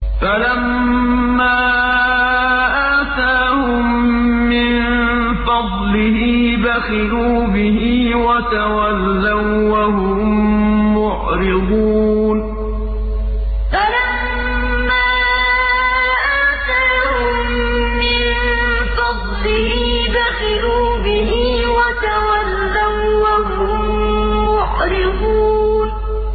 فَلَمَّا آتَاهُم مِّن فَضْلِهِ بَخِلُوا بِهِ وَتَوَلَّوا وَّهُم مُّعْرِضُونَ فَلَمَّا آتَاهُم مِّن فَضْلِهِ بَخِلُوا بِهِ وَتَوَلَّوا وَّهُم مُّعْرِضُونَ